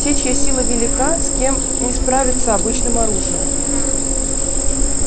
те чья сила велика с кем не справиться обычным оружием